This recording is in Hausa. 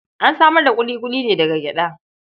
An samar da ƙuliƙuli ne daga gyaɗa.